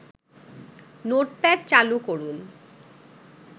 notepad চালু করুন